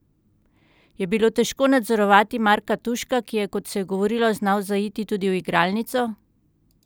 Je bilo težko nadzorovati Marka Tuška, ki je, kot se je govorilo, znal zaiti tudi v igralnico?